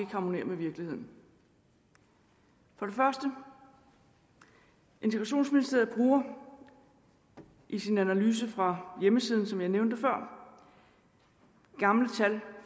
harmonerer med virkeligheden for det første integrationsministeriet bruger i sin analyse fra hjemmesiden som jeg nævnte før gamle tal